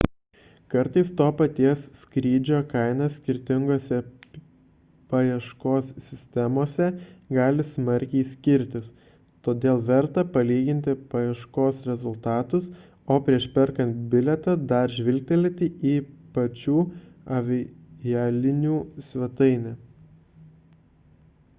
kartais to paties skrydžio kaina skirtinguose paieškos sistemose gali smarkiai skirtis todėl verta palyginti paieškos rezultatus o prieš perkant bilietą dar žvilgterėti į pačių avialinijų svetainę